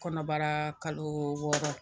Kɔnɔbara kalo wɔɔrɔ